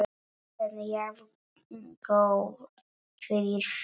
En jafngóð fyrir því!